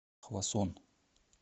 хвасон